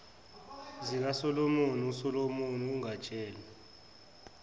zikasomlomo usomlomo angatshela